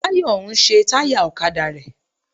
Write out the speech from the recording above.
Táyọ̀ ń ṣe táyà ọ̀kadà rẹ.